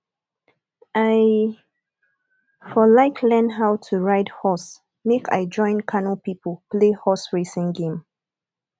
i for like learn how to ride horse make i join kano people play horse racing game